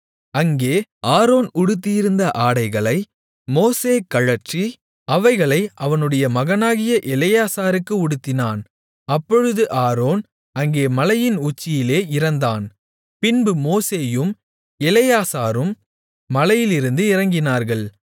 அங்கே ஆரோன் உடுத்தியிருந்த ஆடைகளை மோசே கழற்றி அவைகளை அவனுடைய மகனாகிய எலெயாசாருக்கு உடுத்தினான் அப்பொழுது ஆரோன் அங்கே மலையின் உச்சியிலே இறந்தான் பின்பு மோசேயும் எலெயாசாரும் மலையிலிருந்து இறங்கினார்கள்